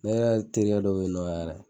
Ne yɛrɛ terikɛ dɔ bɛyinɔ yɛrɛ.